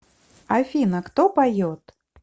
афина кто поет